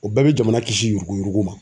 O bɛɛ bɛ jamana kisi yurukuyuruku ma.